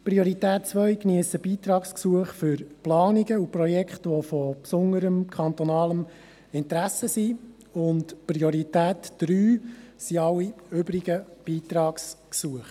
Priorität 2 geniessen Beitragsgesuche für Planungen und Projekte, die von besonderem kantonalen Interesse sind, und Priorität 3 sind alle übrigen Beitragsgesuche.